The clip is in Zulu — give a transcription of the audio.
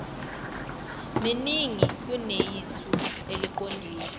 miningi kuneyisu eliqondile